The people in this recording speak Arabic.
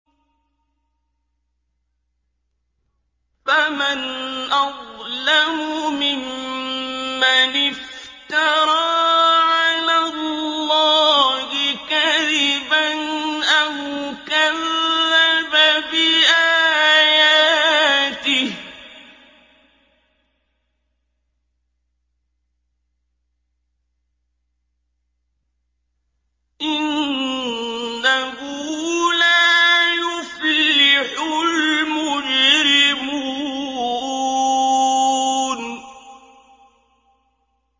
فَمَنْ أَظْلَمُ مِمَّنِ افْتَرَىٰ عَلَى اللَّهِ كَذِبًا أَوْ كَذَّبَ بِآيَاتِهِ ۚ إِنَّهُ لَا يُفْلِحُ الْمُجْرِمُونَ